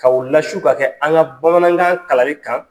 Ka u lasu ka kɛ an ka bamanankan kalanli kan.